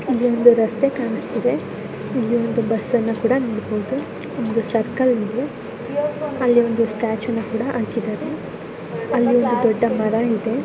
ಅಲ್ಲಿ ಒಂದು ರಸ್ತೆ ಕಾಣಿಸ್ತಾಯಿದೆ. ಇಲ್ಲಿ ಒಂದು ಬಸ್ಸ ನ್ನು ಕಾಣಬಹುದು. ಒಂದು ಸರ್ಕಲ್ ಇದೆ. ಅಲ್ಲಿ ಒಂದು ಸ್ಟಾಚು ನು ಕೂಡಾ ಹಾಕಿದ್ದಾರೆ. ಅಲ್ಲಿ ಒಂದು ದೊಡ್ಡ ಮಾರಾ ಇದೆ.